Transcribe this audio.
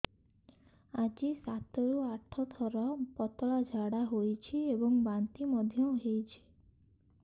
ଆଜି ସାତରୁ ଆଠ ଥର ପତଳା ଝାଡ଼ା ହୋଇଛି ଏବଂ ବାନ୍ତି ମଧ୍ୟ ହେଇଛି